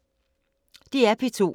DR P2